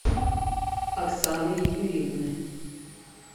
оксаны юрьевны